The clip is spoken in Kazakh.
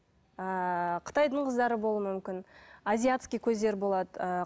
ыыы қытайдың қыздары болуы мүмкін азиатский көздер болады ыыы